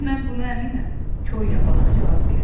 Mən buna əminəm, Kor yapalaq cavab verdi.